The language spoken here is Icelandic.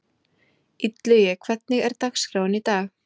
Illugi, hvernig er dagskráin í dag?